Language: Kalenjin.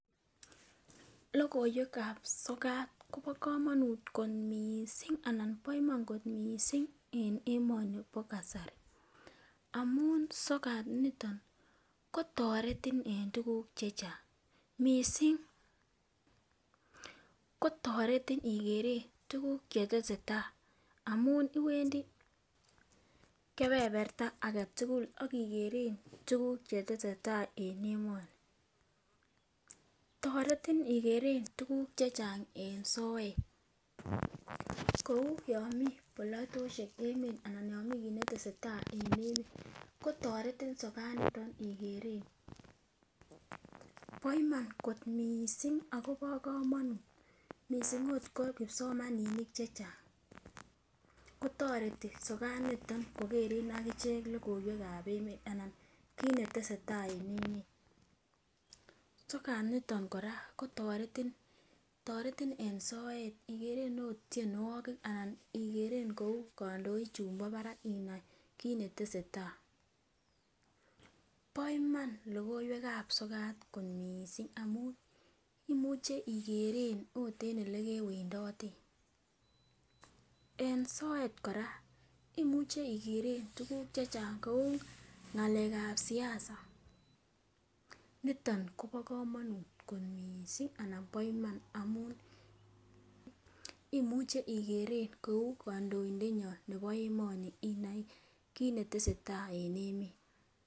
Lokoiwekab sokat Kobo komonut kot missing anan bo Iman kot missing en emoni nibo kasari amun sokat niton kotoretin en tukuk chechang missing kotoreti ikere tukuk chetesetai amun iwendii kepeperta agetukul akikere tukuk chetesetai en emoni. Toreti ikeren tukuk chechang en soet kou yon mii bolotoshek emet anan yon mii kit netesetai en emet kotoreti sokat niton okeren. Bo Iman kot missing akobo komonut missing ot ko kipsomaninik chechang kotoreti sokat niton kokeren akichek lokoiwekab emet anan kit netesetai en emet. Sokat niton Koraa kotoreti, toreti en soet ikere ot tyenwokik anan ikere kou kondoik chumbo barak inai kit netesetai. Bo Iman lokoiwekab sokat kot missing amun imuche ikeren it en olekewendoten . En soet Koraa imuche ikeren tukuk chechang kou ngelekab siasa niton Kobo komonut kot missing anan bo Iman amun imuche ikeren kou kondoindenyon nebo emoni inai kit netesetai en emet.